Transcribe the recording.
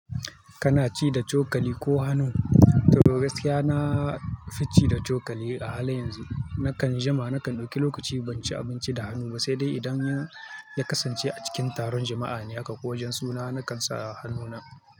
Kanaci da cokali ko hannu? To gaskiya na fi ci da cokali. A halin yanzu, nakan jima, nakan ɗauki lokaci ban ci abinci da hannu ba, sai dai idan ya kasance a cikin taron jama'a ne haka kowajen suna, na kan sa hannuna.